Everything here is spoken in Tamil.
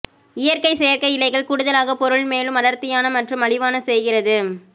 இயற்கை செயற்கை இழைகள் கூடுதலாக பொருள் மேலும் அடர்த்தியான மற்றும் மலிவான செய்கிறது